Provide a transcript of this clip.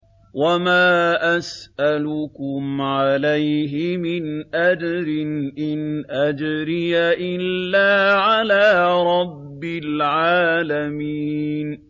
وَمَا أَسْأَلُكُمْ عَلَيْهِ مِنْ أَجْرٍ ۖ إِنْ أَجْرِيَ إِلَّا عَلَىٰ رَبِّ الْعَالَمِينَ